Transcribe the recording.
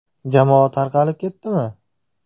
Jamoa tarqalib ketdimi?